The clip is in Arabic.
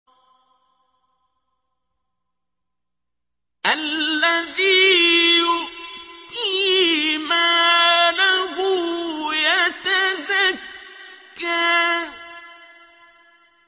الَّذِي يُؤْتِي مَالَهُ يَتَزَكَّىٰ